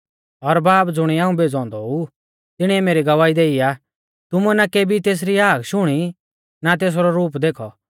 और बाब ज़ुणिऐ हाऊं भेज़ौ औन्दौ ऊ तिणीऐ मेरी गवाही देई आ तुमुऐ ना केबी तेसरी हाक शुणी ना तेसरौ रूप देखौ